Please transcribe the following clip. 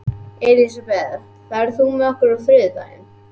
Elisabeth, ferð þú með okkur á þriðjudaginn?